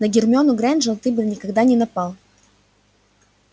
на гермиону грэйнджер ты бы никогда не напал